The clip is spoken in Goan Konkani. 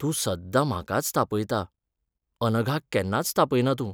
तूं सद्दां म्हाकाच तापयता, अनघाक केन्नाच तापयना तूं.